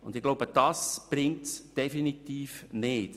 Ich glaube, dies bringt es definitiv nicht.